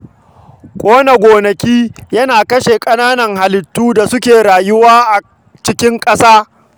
Ƙona gonaki yana kashe rayuwar ƙananan halittun da suke rayuwa a cikin ƙasar